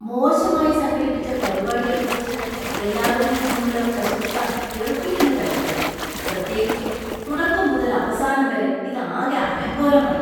മോശമായി സംഘടിപ്പിച്ച പരിപാടിയെക്കുറിച്ചു എല്ലാവരിൽ നിന്നുമുള്ള പ്രശംസ വെറുപ്പിക്കുന്നതായിരുന്നു , പ്രത്യേകിച്ചും തുടക്കം മുതൽ അവസാനം വരെ ഇത് ആകെ അലങ്കോലമായി.